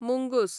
मुंगूस